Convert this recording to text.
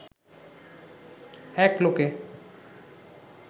এক লোকে